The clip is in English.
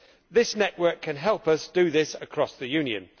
This network can help us do this across the Union.